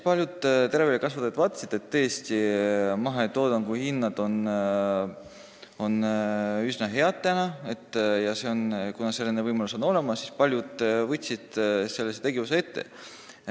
Paljud teraviljakasvatajad vaatasidki, et mahetoodangu hinnad on tõesti üsna head, ja kuna selline võimalus on olemas, siis paljud võtsidki selle tegevuse ette.